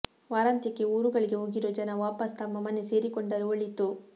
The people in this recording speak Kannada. ವಾರಾಂತ್ಯಕ್ಕೆ ಊರುಗಳಿಗೆ ಹೋಗಿರೋ ಜನ ವಾಪಸ್ ತಮ್ಮ ಮನೆ ಸೇರಿಕೊಂಡರೆ ಒಳಿತು